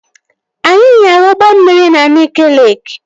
Anyị nyara ụgbọ mmiri na Nike Leeki